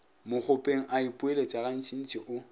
mokgopeng a ipoeletša gantšintši o